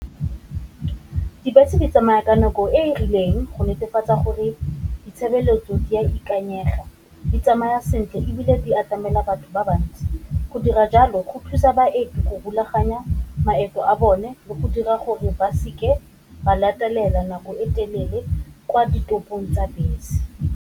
Dibese di tsamaya ka nako e e rileng go netefatsa gore ditshebeletso di a ikanyega, di tsamaya sentle ebile di atamela batho ba bantsi, go dira jalo go thusa baeti go rulaganya maemo a bone le go dira gore ba seke ba latelela nako e telele kwa ditopong tsa bese.